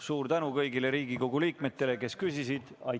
Suur tänu kõigile Riigikogu liikmetele, kes küsisid!